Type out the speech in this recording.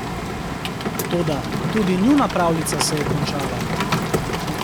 Toda, tudi njuna pravljica se je končala.